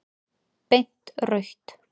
Beint rautt.